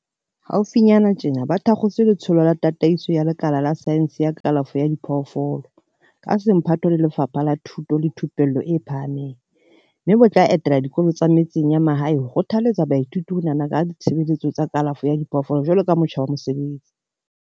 Haufinyana tjena ba thakgotse Letsholo la Tataiso ya Lekala la Saense ya Kalafo ya Diphoofolo, ka semphato le Lefapha la Thuto le Thupello e Phahameng, mme bo tla etela dikolo tsa metseng ya mahae ho kgothaletsa baithuti ho nahana ka ditshebeletso tsa kalafo ya diphoofolo jwaloka motjha wa mosebetsi.